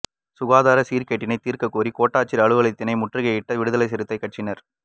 சுகாதார சீர்கேட்டினை தீர்க்க கோரி கோட்டாட்சியர் அலுவலகத்தினை முற்றுக்கையிட்ட விடுதலை சிறுத்தை கட்சியினர்